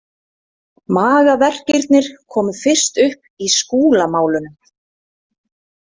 Magaverkirnir komu fyrst upp í Skúlamálunum.